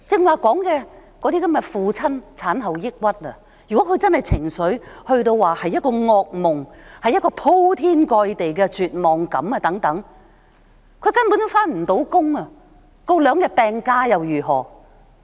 我剛才說有父親患上產後抑鬱，如果他的情緒達到噩夢般的、鋪天蓋地的絕望感，他根本無法上班，請兩天病假又如何？